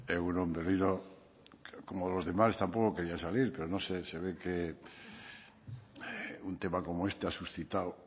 egun on berriro como los demás tampoco quería salir pero no sé se ve que un tema como este ha suscitado